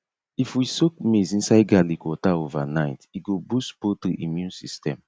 if we soak maize inside garlic water overnight e go boost poultry immune system